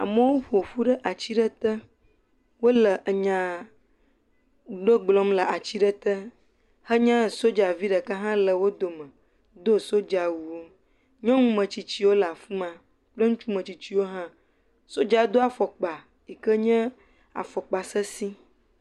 Amewo ƒoƒu ɖe ati ɖe te, wole enya ɖe gblɔm le ati ɖe te henye soja ɖeka le wo dome do sojawu, nyɔŋu metsitsiwo le af ma kple ŋutsu metsitsiwo hã, sojae do afɔkpa yi ken ye afɔkpa sesɛ̃.